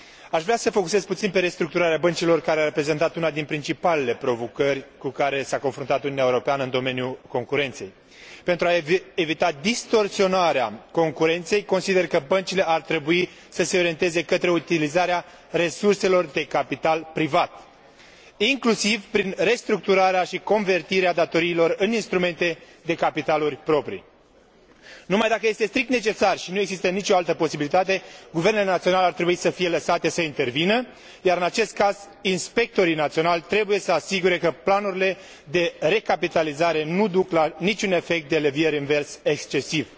Aș vrea să atrag atenția asupra restructurării băncilor, care a reprezentat una dintre principalele provocări cu care s a confruntat Uniunea Europeană în domeniul concurenței. Pentru a evita distorsionarea concurenței, consider că băncile ar trebui să se orienteze către utilizarea resurselor de capital privat, inclusiv prin restructurarea și convertirea datoriilor în instrumente de capital proprii. Numai dacă este strict necesar și nu există nicio altă posibilitate guvernele naționale ar trebui lăsate să intervină, iar, în acest caz, inspectorii naționali trebuie să se asigure că planurile de recapitalizare nu duc la niciun efect de levier invers excesiv.